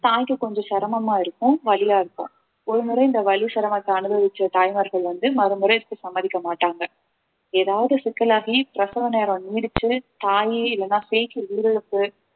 தாய்க்கு கொஞ்சம் சிரமமா இருக்கும் வலியா இருக்கும் ஒருமுறை இந்த வலி சிரமத்தை அனுபவிச்ச தாய்மார்கள் வந்து மறுமுறைக்கு சம்மதிக்க மாட்டாங்க ஏதாவது சிக்கலாகி பிரசவ நேரம் நீடித்து தாயே இல்லைன்னா சேய்க்கு உயிரிழப்பு